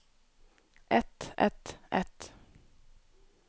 et et et